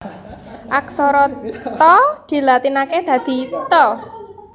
Aksara Ta dilatinaké dadi Ta